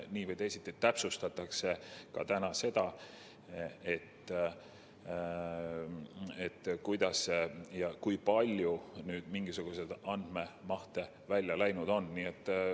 Nii või teisiti täpsustatakse täna seda, kuidas ja kui suured andmemahud välja läinud on.